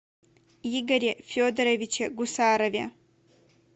игоре федоровиче гусарове